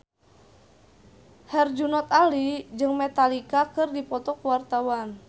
Herjunot Ali jeung Metallica keur dipoto ku wartawan